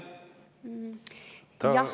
Jah …